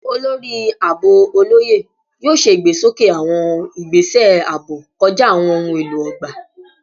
Olori Aabo Oloye yoo ṣe igbesoke awọn igbese aabo kọja awọn ohun elo ogba